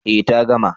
Eh ta gama